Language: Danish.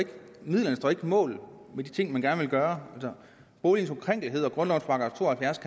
mål med de ting man gerne vil gøre boligens ukrænkelighed og grundlovens § to og halvfjerds